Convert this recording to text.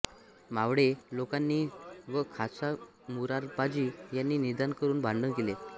मावळे लोकांनी व खासां मुरारबाजी यानी निदान करून भांडण केले